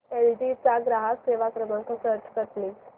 L G चा ग्राहक सेवा क्रमांक सर्च कर प्लीज